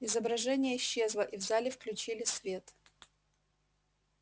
изображение исчезло и в зале включили свет